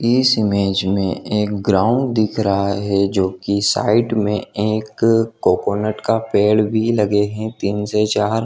इस इमेज मैं एक ग्राउंड दिख रहा है जो कि साइड में एक कोकोनट का पेड़ भी लगे हैं तीन से चार।